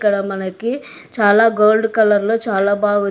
ఇక్కడ మనకి చాలా గోల్డ్ కలర్లో చాలా బాగుంది.